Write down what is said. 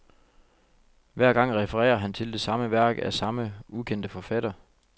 Hver gang refererer han til det samme værk, af samme ukendte forfatter.